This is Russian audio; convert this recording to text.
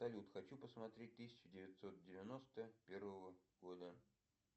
салют хочу посмотреть тысяча девятьсот девяносто первого года